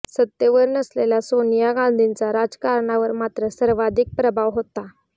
सत्तेवर नसलेल्या सोनिया गांधींचा राजकारणावर मात्र सर्वाधिक प्रभाव होता